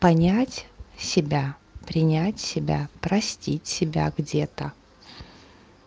понять себя принять себя простить себя где-то